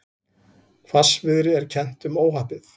Hvassviðri er kennt um óhappið